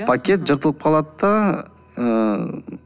пакет жыртылып қалады да ыыы